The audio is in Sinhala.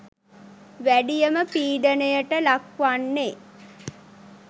වැඩියම පීඩනයට ලක්වෙන්නේ